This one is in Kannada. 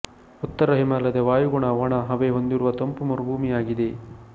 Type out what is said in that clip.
ಉತ್ತರ ಹಿಮಾಲಯದ ವಾಯುಗುಣ ವಣ ಹವೆ ಹೊಂದಿರುವ ತಂಪು ಮರುಭೂಮಿಯಾಗಿದೆ